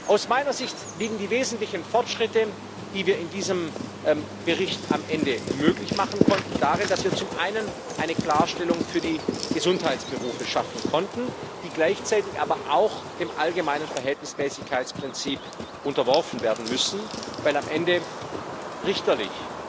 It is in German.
Aus meiner Sicht liegen die wesentlichen Fortschritte, die wir in diesem Bericht am Ende möglich machen konnten, darin, dass wir zum einen eine Klarstellung für die Gesundheitsberufe schaffen konnten, die gleichzeitig aber auch dem allgemeinen Verhältnismäßigkeitsprinzip unterworfen werden müssen, weil am Ende richterlich